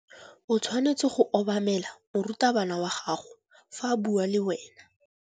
O tshwanetse go obamela morutabana wa gago fa a bua le wena.